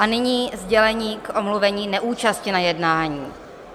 A nyní sdělení k omluvení neúčasti na jednání.